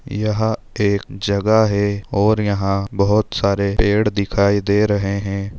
यहा एक जगह है और यहा बहुत सारे पेड़ दिखाई दे रहे है।